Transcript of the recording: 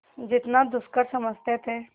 जितना दुष्कर समझते थे